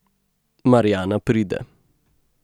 Marjana pride.